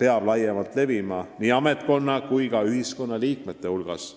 peab laiemalt levima nii ametnikkonna kui ka kogu ühiskonna liikmete hulgas.